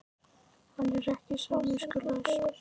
Er hann ekki samningslaus?